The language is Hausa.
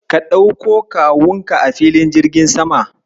Ka ɗauko Kawunka a filin jirgin sama.